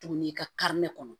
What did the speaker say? Tuguni i ka kɔnɔ